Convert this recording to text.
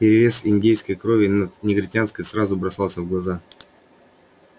перевес индейской крови над негритянской сразу бросался в глаза